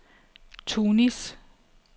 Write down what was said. Tunis